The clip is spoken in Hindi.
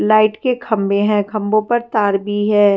लाइट के खंबे है खंबों पर तार भी है।